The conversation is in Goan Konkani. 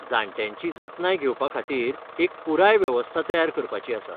जाण्ट्यांची जतनाय घेवपा खातीर एक पुराय वेवस्था तयार करपाची आसा.